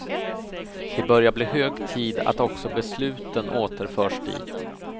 Det börjar bli hög tid att också besluten återförs dit.